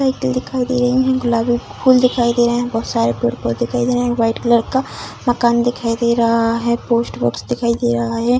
Cycle दिखाई दे रहे है गुलाबी फूल दिखाई दे रहे है बोहत सारे पेड़-पौधे दिखाई दे रहे है व्हाइट कलर का मकान दिखाई दे रहा है पोस्ट बर्ड्स दिखाई दे रहा है।